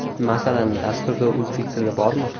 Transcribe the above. Masalan, dasturda o‘zbek tili bormi?